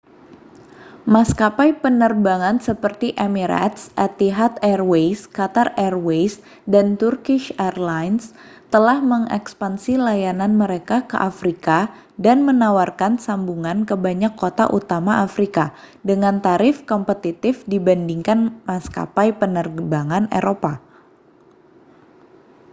maskapai penerbangan seperti emirates etihad airways qatar airways dan turkish airlines telah mengekspansi layanan mereka ke afrika dan menawarkan sambungan ke banyak kota utama afrika dengan tarif kompetitif dibandingkan maskapai penerbangan eropa